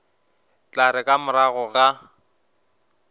tla re ka morago ga